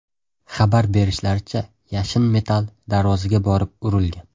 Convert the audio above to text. Xabar berishlaricha, yashin metall darvozaga borib urilgan.